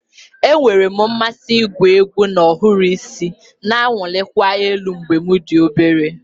Enwere m mmasị igwu egwu na ohiri isi na-awụlikwa elu mgbe m dị obere